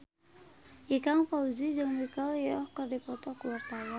Ikang Fawzi jeung Michelle Yeoh keur dipoto ku wartawan